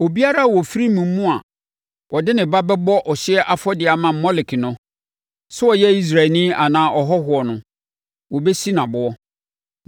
“Obiara a ɔfiri mo mu a ɔde ne ba bɛbɔ ɔhyeɛ afɔdeɛ ama Molek no, sɛ ɔyɛ Israelni anaa ɔhɔhoɔ no, wɔbɛsi no aboɔ.